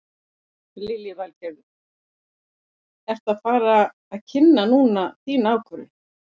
Lillý Valgerður: Ertu að fara að kynna núna þína ákvörðun?